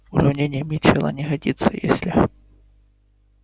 уравнение митчелла не годится если